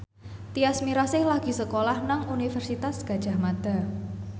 Tyas Mirasih lagi sekolah nang Universitas Gadjah Mada